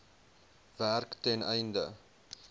werk ten einde